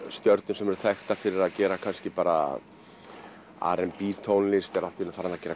stjörnur sem eru þekktar fyrir að gera kannski bara r b tónlist eru allt í einu farnar að gera